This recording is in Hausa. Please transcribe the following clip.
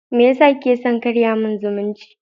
Meyasa kike son karya min zumunci?